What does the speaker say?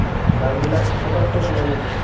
দামবিলাক পতককে সলনি হয়